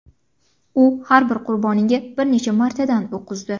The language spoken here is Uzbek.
U har bir qurboniga bir necha martadan o‘q uzdi.